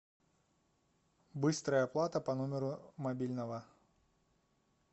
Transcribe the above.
быстрая оплата по номеру мобильного